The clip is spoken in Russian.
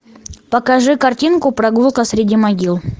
покажи картинку прогулка среди могил